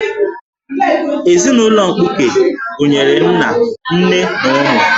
Ezinụlọ mkpuke gụnyere nna, nne, na ụmụ